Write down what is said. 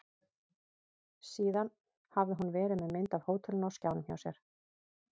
Síðan hafði hún verið með mynd af hótelinu á skjánum hjá sér.